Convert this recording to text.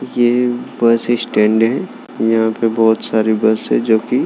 ये bus stand है यहाँ पे बहुत सारी बस है जो कि --